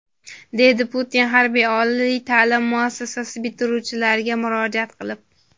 deydi Putin harbiy oliy ta’lim muassasasi bitiruvchilariga murojaat qilib.